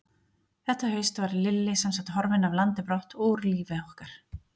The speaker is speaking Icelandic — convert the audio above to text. Þetta haust var Lilli semsagt horfinn af landi brott og úr lífi okkar.